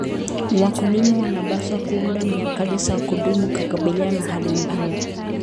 Wakulima wanapaswa kuunda mikakati ya kudumu kukabiliana na hali mbaya.